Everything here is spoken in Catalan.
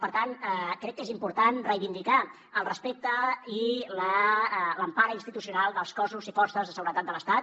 per tant crec que és important reivindicar el respecte i l’empara institucional dels cossos i forces de seguretat de l’estat